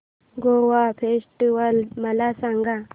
Goa festival मला सांग